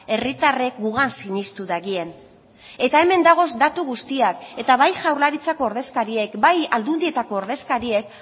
herritarrek gugan sinestu dagien eta hemen dagoz datu guztiak eta bai jaurlaritzako ordezkariek bai aldundietako ordezkariek